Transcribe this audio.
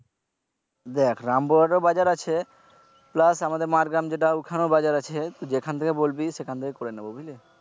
দেখ রামপুর হাটেও বাজার আছে plus আমাদের মারগ্রাম যেটা ওখানেও বাজার আছে যেখান থেকে বলবি সেখান থেকেই করে নিবে বুঝলে।